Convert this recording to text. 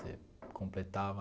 Você completava...